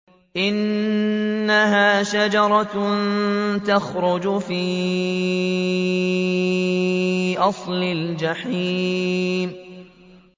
إِنَّهَا شَجَرَةٌ تَخْرُجُ فِي أَصْلِ الْجَحِيمِ